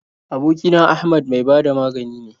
Aboki na Ahmad mai ba da magani ne.